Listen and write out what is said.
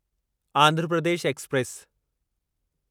Andhra Pradesh express